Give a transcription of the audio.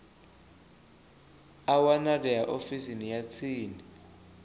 a wanalea ofisini ya tsini